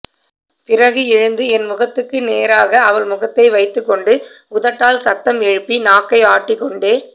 பிறகு எழுந்து என் முகத்துக்கு நேராக அவள் முகத்தை வைத்துக் கொண்டு உதட்டால் சத்தம் எழுப்பி நாக்கை ஆட்டிக் கொண்டே